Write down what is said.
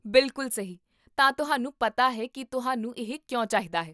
ਬਿਲਕੁਲ ਸਹੀ, ਤਾਂ ਤੁਹਾਨੂੰ ਪਤਾ ਹੈ ਕੀ ਤੁਹਾਨੂੰ ਇਹ ਕਿਉਂ ਚਾਹੀਦਾ ਹੈ